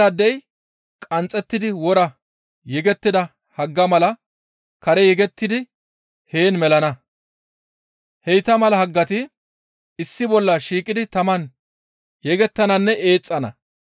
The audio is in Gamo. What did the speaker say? Tanan bayndaadey qanxxettidi wora yegettida haggaa mala kare yegettidi heen melana; heyta mala haggati issi bolla shiiqidi taman yegettannanne eexxana.